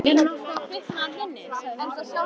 Er nokkuð að kvikna í þarna inni? sagði húsvörðurinn.